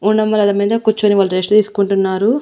గుండంబలదల మీద కూర్చొని వాళ్ళు రెస్ట్ తీసుకుంటున్నారు.